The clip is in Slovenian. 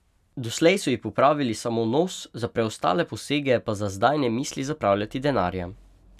Doslej so ji popravili samo nos, za preostale posege pa za zdaj ne misli zapravljati denarja.